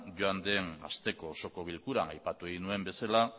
joan den asteko osoko bilkuran aipatu egin nuen bezala